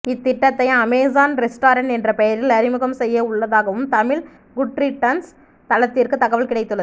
இத்திட்டத்தை Amazon restaurant என்ற பெயரில் அறிமுகம் செய்ய உள்ளதாகவும் தமிழ் குட்ரிட்டன்ஸ் தளத்திற்குத் தகவல் கிடைத்துள்ளது